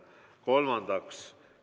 Kolmandaks ...